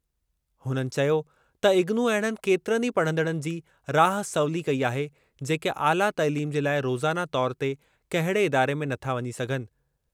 हुननि चयो त इग्नू अहिड़नि केतिरनि ई पढ़ंदड़नि जी राह सवली कई आहे जेके आला तइलीम जे लाइ रोज़ाना तौरु ते कहिड़े इदारे में नथा वञी सघनि।